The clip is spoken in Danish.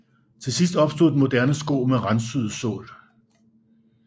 Til sidst opstod den moderne sko med randsyet sål